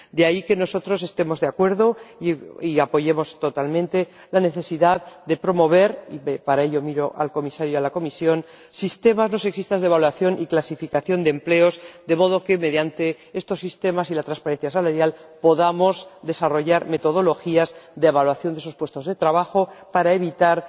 De ahí que nosotros estemos de acuerdo y apoyemos totalmente la necesidad de promover —y, para ello, miro al comisario y a la Comisión— sistemas no sexistas de evaluación y clasificación de empleos, de modo que mediante estos sistemas y la transparencia salarial podamos desarrollar metodologías de evaluación de los puestos de trabajo para evitar